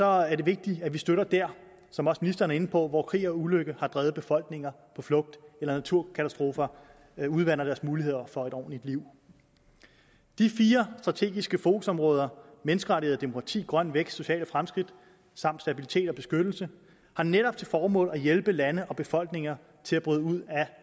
er det vigtigt at vi støtter der som også ministeren er inde på hvor krig og ulykke har drevet befolkninger på flugt eller naturkatastrofer har udvandet deres mulighed for et ordentligt liv de fire strategiske fokusområder menneskerettigheder og demokrati grøn vækst sociale fremskridt samt stabilitet og beskyttelse har netop til formål at hjælpe lande og befolkninger til at bryde ud